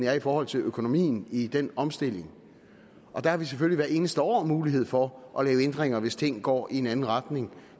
er i forhold til økonomien i den omstilling der har vi selvfølgelig hvert eneste år mulighed for at lave ændringer hvis ting går i en anden retning